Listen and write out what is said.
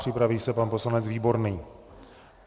Připraví se pan poslanec Výborný.